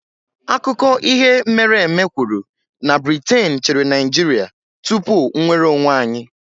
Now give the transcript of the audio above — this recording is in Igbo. Akụkọ ihe mere eme kwuru na Briten chịrị Naịjirịa tupu nnwere onwe anyị